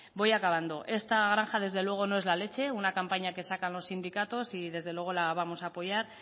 voy acabando esta granja desde luego no es la leche una campaña que sacan los sindicatos y desde luego la vamos a apoyar